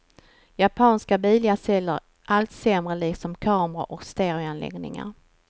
Japanska bilar säljer allt sämre, liksom kameror och stereoanläggningar.